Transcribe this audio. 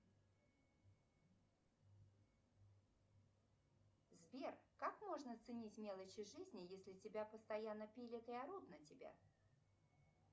сбер как можно ценить мелочи жизни если тебя постоянно пилят и орут на тебя